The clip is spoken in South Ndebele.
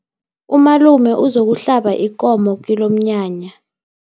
Umalume uzokuhlaba ikomo kilomnyanya.